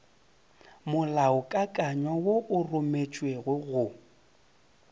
molaokakanywa wo o rometšwego go